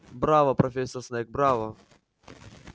браво профессор снегг браво